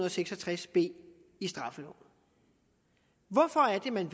og seks og tres b i straffeloven hvorfor vil man